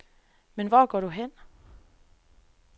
Men hvor går du hen.